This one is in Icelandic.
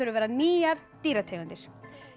að vera nýjar dýrategundir